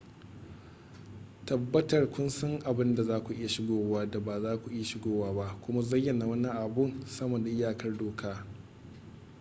tabbatar kun san abin da zaku iya shigowa da ba za ku iya shigowa ba kuma zayyana wani abu sama da iyakar doka